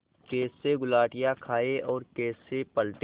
कैसे गुलाटियाँ खाएँ और कैसे पलटें